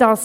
Damit